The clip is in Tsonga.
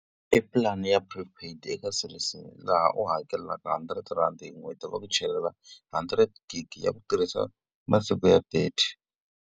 I plan-i ya pre paid eka Cell C laha u hakelaka hundred rhandi hi n'hweti ku va ku chelela hundred gig ya ku tirhisa masiku ya thirty.